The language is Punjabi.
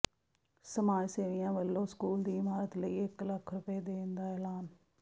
ਸਮਾਜ ਸੇਵੀਆਂ ਵਲੋਂ ਸਕੂਲ ਦੀ ਇਮਾਰਤ ਲਈ ਇਕ ਲੱਖ ਰੁਪਏ ਦੇਣ ਦਾ ਐਲਾਨ